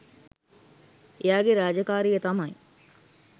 එයාගේ රාජකාරිය තමයි